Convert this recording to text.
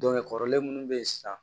kɔrɔlen munnu be yen sisan